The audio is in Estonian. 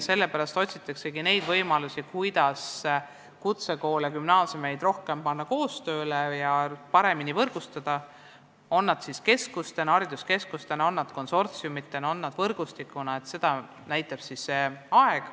Sellepärast otsitaksegi võimalusi, kuidas kutsekoole ja gümnaasiume rohkem koos töötama panna ja paremini võrgustada, kas siis hariduskeskustena, konsortsiumidena või võrgustikuna, seda näitab aeg.